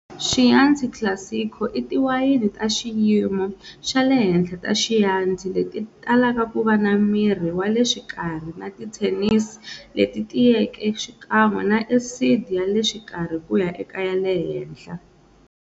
Chianti Classico i tiwayeni ta xiyimo xale henhla ta Chianti leti talaka kuva na miri wale xikarhi na ti tannins leti tiyeke xikan'we na acid yale xikarhi kuya eka yale henhla.